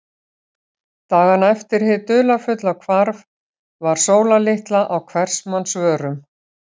Dagana eftir hið dularfulla hvarf var Sóla litla á hvers manns vörum.